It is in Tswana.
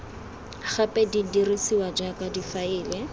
gape di dirisiwa jaaka difaele